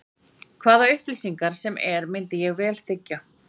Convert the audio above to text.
Hvaða upplýsingar sem er myndi ég vel þiggja.